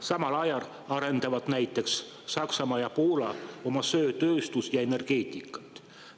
Samal ajal arendavad näiteks Saksamaa ja Poola oma söetööstust ja -energeetikat.